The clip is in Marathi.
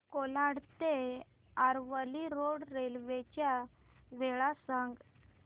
कोलाड ते आरवली रोड रेल्वे च्या वेळा सांग